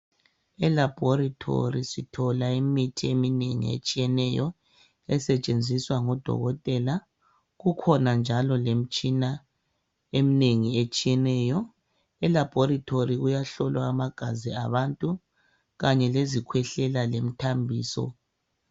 E laboratory sithola imithi eminengi etshiyeneyo esetshenziswa ngodokotela .Kukhona njalo lemitshina eminengi etshiyeneyo. E laboratory kuyahlolwa amagazi abantu kanye lezikhwehlela lemithambiso